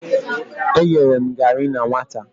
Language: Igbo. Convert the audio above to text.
E yere m gari na nwata.